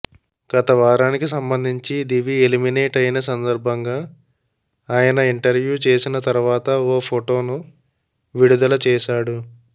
గత వారానికి సంబంధించి దివి ఎలిమినేట్ అయిన సందర్భంగా ఆయన ఇంటర్వ్యూ చేసిన తర్వాత ఓ ఫోటోను పోస్ట్ చేశాడు